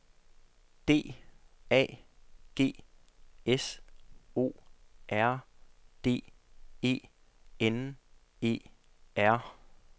D A G S O R D E N E R